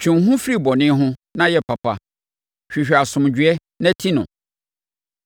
Twe wo ho firi bɔne ho, na yɛ papa; hwehwɛ asomdwoeɛ na ti no.